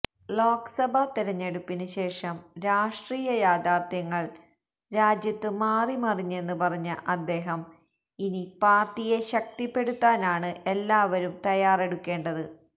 ലോക്സഭാ തിരഞ്ഞെടുപ്പിന് ശേഷം രാഷ്ട്രീയ യാഥാർഥ്യങ്ങള് രാജ്യത്ത് മാറി മറിഞ്ഞെന്ന് പറഞ്ഞ അദ്ദേഹം ഇനി പാര്ട്ടിയെ ശക്തിപ്പെടുത്താനാണ് എല്ലാവരും തയ്യാറെടുക്കേണ്ടത്